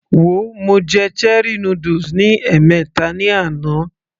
Wo, mo jẹ cherie noodles ní ẹ̀mẹta ní àná